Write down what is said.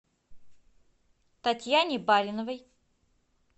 татьяне бариновой